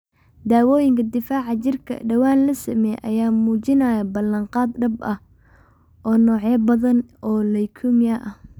Daawooyinka difaaca jirka ee dhawaan la sameeyay ayaa muujinaya balan qaad dhab ah oo ah noocyo badan oo leukemia ah.